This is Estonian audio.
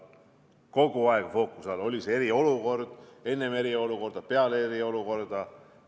Kogu aeg fookuses oli see enne eriolukorda ja ka peale eriolukorda.